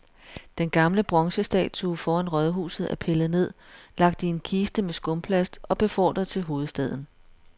Den gamle bronzestatue foran rådhuset er pillet ned, lagt i en kiste med skumplast og befordret til hovedstaden.